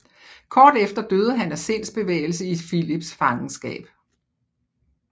Kort efter døde han af sindsbevægelse i Filips fangenskab